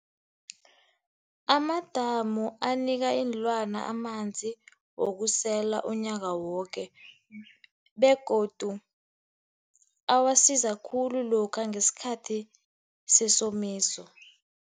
Amadamu anika iinlwana amanzi wokusela unyaka woke, begodu awasiza khulu lokha ngesikhathi sesomiso.